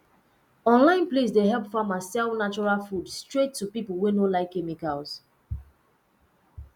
online place dey help farmer sell natural food straight to people wey no like chemicals